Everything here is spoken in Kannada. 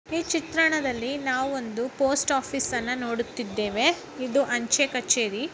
ಈ ಚಿತ್ರಣದಲ್ಲಿ ನಾವು ಒಂದು ಪೋಸ್ಟ್ ಆಫೀಸ್ ಅನ್ನ ನೋಡುತ್ತಿದ್ದೇವೆ ಇದು ಅಂಚೆ ಕಛೇರಿ.